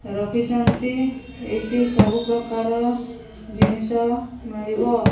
ରଖିଛନ୍ ଏଇଟି ସବୁ ପ୍ରକାର ଜିନିଷ ମିଳିବ।